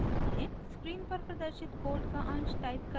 screen पर प्रदर्शित code का अंश टाइप करें